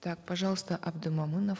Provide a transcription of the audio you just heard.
так пожалуйста абдымомынов